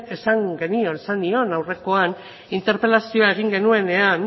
esan nion aurrekoan interpelazio egin genuenean